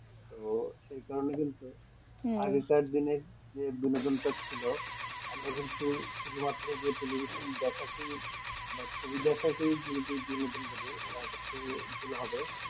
তো সেই কারণে কিন্তু আগেকার দিনে যে বিনোদনটা ছিল আমরা কিন্তু শুধু মাত্র যে টেলিভিশন দেখা কেই বা ছবি দেখা কেই বিনোদন বলি তা কিন্তু ভুল হবে